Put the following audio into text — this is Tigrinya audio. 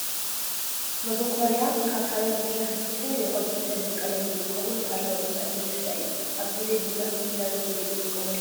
መበኮርያ ካብ ሓመድ ዝስራሕ ብዝተፈላለዩ ቅርፅን ሕብሪ ቀለምን እንትከውን ባህላዊ ዕጣን መጠሻ እዩ። ኣብ ግዜ ቡና ኣፍልሒና ንሰተሉ ንጥቀመሉ መሳሪሒ እዩ።